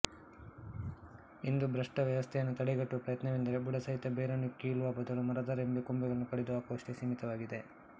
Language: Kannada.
ಇಂದು ಭ್ರಷ್ಟ ವ್ಯವಸ್ಥೆಯನ್ನು ತಡೆಗಟ್ಟುವ ಪ್ರಯತ್ನವೆಂದರೆ ಬುಡಸಹಿತ ಬೇರನ್ನು ಕೀಳುವ ಬದಲು ಮರದ ರೆಂಬೆ ಕೊಂಬೆಗಳನ್ನು ಕಡಿದು ಹಾಕುವಷ್ಟಕ್ಕೆ ಸೀಮಿತವಾಗಿದೆ